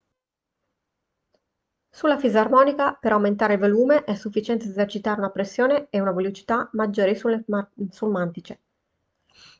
sulla fisarmonica per aumentare il volume è sufficiente esercitare una pressione e una velocità maggiori sul mantice